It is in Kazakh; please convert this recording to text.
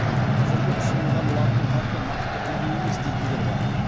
қазіргі ұсынылған латын қарпі нақты үлгі емес дейтіндер бар